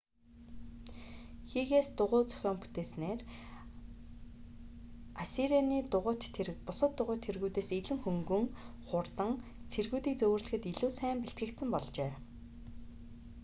хигээс дугуйн зохион бүтээснээр ассирианы дугуйт тэрэг бусад дугуйт тэргүүдээс илүү хөнгөн хурдан цэргүүдийг зөөвөрлөхөд илүү сайн бэлтгэгдсэн болжээ